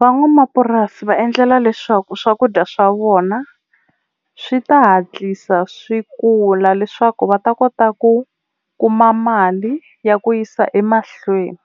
Van'wamapurasi va endlela leswaku swakudya swa vona swi ta hatlisa swi kula leswaku va ta kota ku kuma mali ya ku yisa emahlweni,